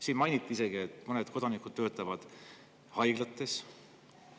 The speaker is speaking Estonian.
Siin mainiti isegi, et mõned kodanikud töötavad haiglates.